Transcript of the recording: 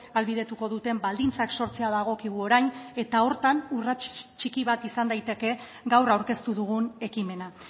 ahalbidetuko duten baldintzak sortzea dagokigu orain eta horretan urrats txiki bat izan daiteke gaur aurkeztu dugun ekimena